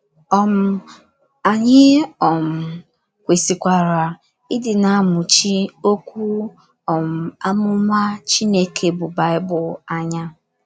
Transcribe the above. um Anyị um kwesịkwara ịdị na - amụchi Okwu um amụma Chineke bụ́ Baịbụl anya.